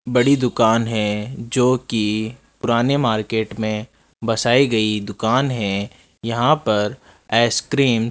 बड़ी दुकान है जोकि पुराने मार्केट में बसाई गई दुकान है यहां पर आइसक्रीम --